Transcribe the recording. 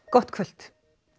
gott kvöld